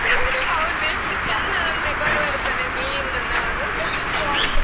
ಅವನು ಎಷ್ಟು ಚಂದದಲ್ಲಿ ತಕೊಂಡು ಬರ್ತಾನೆ, ಮೀನನ್ನು ಅವನು